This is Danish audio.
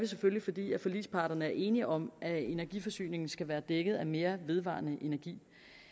selvfølgelig fordi forligsparterne er enige om at energiforsyningen skal være dækket af mere vedvarende energi